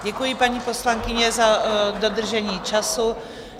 Děkuji, paní poslankyně, za dodržení času.